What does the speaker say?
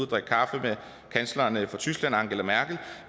drikke kaffe med kansleren i tyskland angela merkel